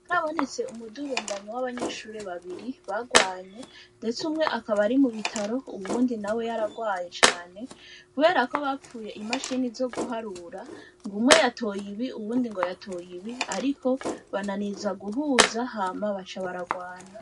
Harabonetse umudurumbanyo w'abanyeshure babiri bagwanye ndetse umwe akaba ari mu bitaro uwundi nawe yaragwaye cane kuberako bapfuye imashine zoguharura ngumwe yatoye ibi uwundi yatoye ibi ariko bananiza guhuza hama baca baragwana.